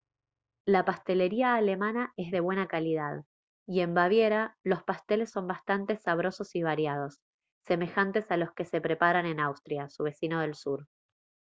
la pastelería alemana es de buena calidad y en baviera los pasteles son bastante sabrosos y variados semejantes a los que preparan en austria su vecino del sur